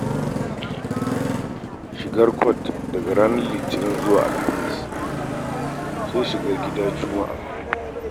Shigar kwat daga ranar Litinin zuwa Alhamis, sai kayan gida Juma'a.